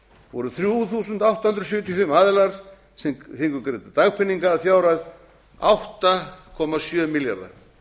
voru þrjú þúsund átta hundruð sjötíu og fimm aðilar sem fengu greidda dagpeninga að fjárhæð átta komma sjö milljarða